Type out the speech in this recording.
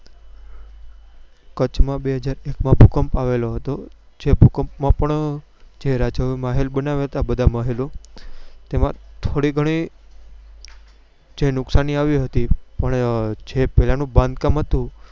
કચ્છ માં બેહજાર એક આ ભૂકંપ આવેલો હતો જે ભૂકંપ માં પણ જે રાજાઓએ મહેલ બનાવ્યા હતા બધા મહેલો જેમાં થોડી ગણી જે નુકસાની આવી હતી પણ જે પેલા નું બાંધકામ હતું